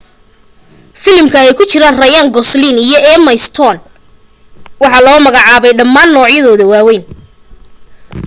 filimka ay ku jiraan ryan gosling iyo emma stone waxa la soo magaacaabay dhammaan noocyada waawayn